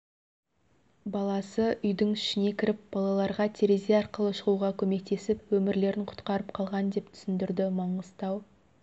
баласы үйдің ішіне кіріп балаларға терезе арқылы шығуға көмектесіп өмірлерін құтқарып қалған деп түсіндірді маңғыстау